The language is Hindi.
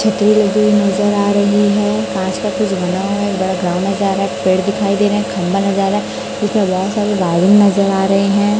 छतरी लगी हुई नजर आ रही है कांच का कुछ बना हुआ है एक बड़ा ग्राउंड नज़र आ रहा है एक पेड़ दिखाई दे रहे हैं खंभा नजर आ रहा है उसमें बहुत सारी वायरिंग नजर आ रहे हैं।